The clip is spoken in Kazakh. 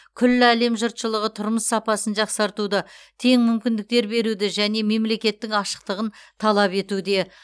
күллі әлем жұртшылығы тұрмыс сапасын жақсартуды тең мүмкіндіктер беруді және мемлекеттің ашықтығын талап етуде